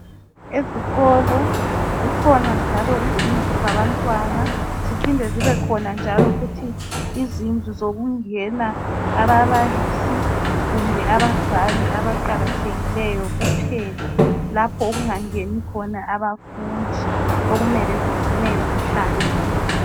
Ezikolo zikhona njalo izindlu zabantwana ziphinde zibekhona njalo futhi izindlu zokungena ababalisi kumbe abazali abaqakathekileyo kuphela lapho okungangeni khona abafundi okumele zigcineke zihlanzekile